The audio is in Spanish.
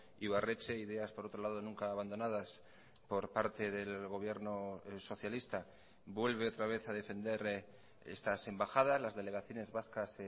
ibarretxe ideas por otro lado nunca abandonadas por parte del gobierno socialista vuelve otra vez a defender estas embajadas las delegaciones vascas